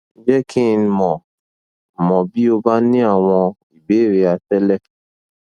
je ki n mo mo bi o ba ni awon ibeere atele